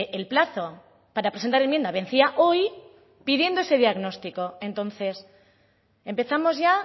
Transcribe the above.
el plazo para presentar enmienda vencía hoy pidiendo ese diagnóstico entonces empezamos ya